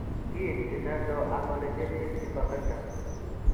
Kiinti nano amelogenesis imperfecta?